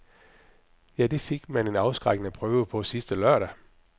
Ja, det fik man en afskrækkende prøve på sidste lørdag.